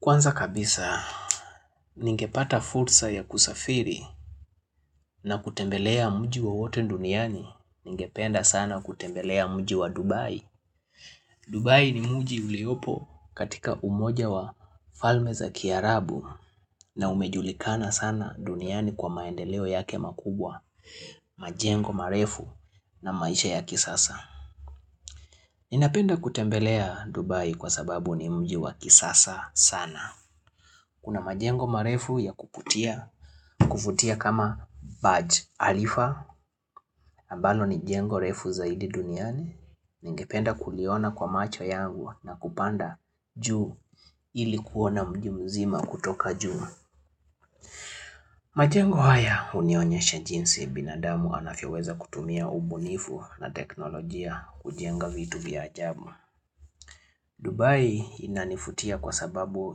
Kwanza kabisa, ningepata fursa ya kusafiri na kutembelea mji wowote duniani, ningependa sana kutembelea mji wa Dubai. Dubai ni mji uliopo katika umoja wa Falme za Kiarabu na umejulikana sana duniani kwa maendeleo yake makubwa, majengo, marefu na maisha ya kisasa. Ninapenda kutembelea Dubai kwa sababu ni mji wa kisasa sana. Kuna majengo marefu ya kuvutia kuvutia kama badge khalifa ambalo ni jengo refu zaidi duniani Ningependa kuliona kwa macho yangu na kupanda juu ili kuona mji mzima kutoka juu majengo haya hunionyesha jinsi binadamu anaweza kutumia ubunifu na teknolojia kujenga vitu vya ajabu Dubai inanivutia kwa sababu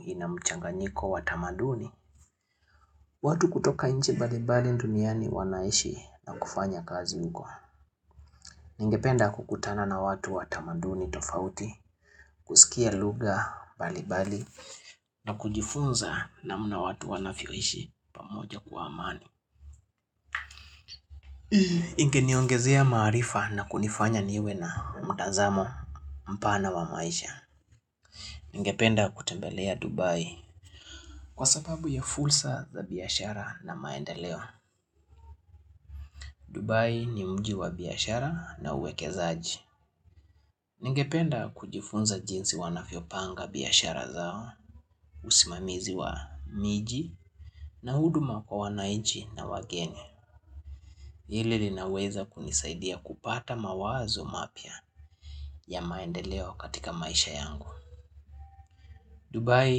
inamchanganyiko wa tamaduni watu kutoka nchi mbalimbali duniani wanaishi na kufanya kazi huko. Ningependa kukutana na watu watamaduni tofauti, kusikia lugha mbalimbali na kujifunza namna watu wanavyoishi pamoja kwa amani. Ingeniongezea maarifa na kunifanya niwe na mtazamo mpana wa maisha. Ningependa kutembelea Dubai kwa sababu ya fursa za biashara na maendeleo. Dubai ni mji wa biashara na uwekezaji. Ningependa kujifunza jinsi wanavyopanga biashara zao, usimamizi wa miji na huduma kwa wanainchi na wakenya Hili linaweza kunisaidia kupata mawazo mapya ya maendeleo katika maisha yangu. Dubai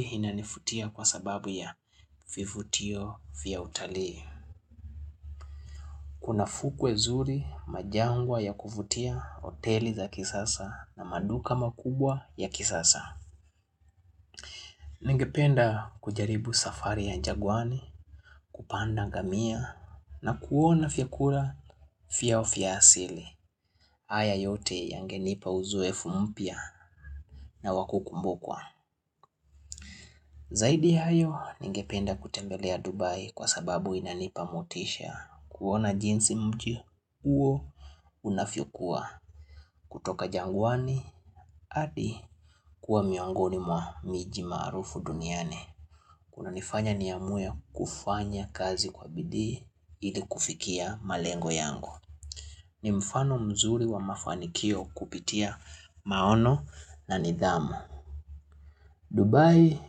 inanivutia kwa sababu ya vivutio vya utalii. Kuna fukwe zuri majangwa ya kuvutia hoteli za kisasa na maduka makubwa ya kisasa. Ningependa kujaribu safari ya jangwani kupanda ngamia na kuona vyakula vyao vya asili. Haya yote yangenipa uzoefu mpya na wa kukumbukwa. Zaidi ya hayo ningependa kutembelea Dubai kwa sababu inanipa motisha. Kuona jinsi mji huo unavyokuwa kutoka jangwani hadi kuwa miongoni mwa miji maarufu duniani kunanifanya niamue kufanya kazi kwa bidii ili kufikia malengo yangu ni mfano mzuri wa mafanikio kupitia maono na nidhamu Dubai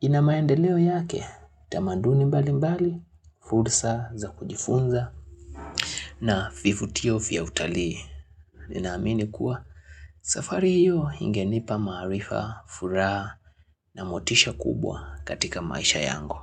ina maendeleo yake tamaduni mbalimbali fursa za kujifunza na vivutio vya utali Ninaamini kuwa safari hiyo ingenipa maarifa, furaha na motisha kubwa katika maisha yangu.